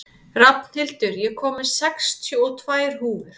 Rafnhildur, ég kom með sextíu og tvær húfur!